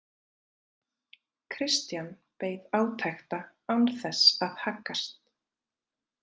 Christian beið átekta án þess að haggast.